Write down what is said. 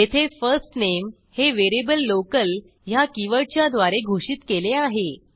येथे first name हे variable local ह्या कीवर्डच्या द्वारे घोषित केले आहे